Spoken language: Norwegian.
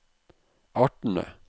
artene